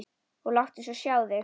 Og láttu svo sjá þig.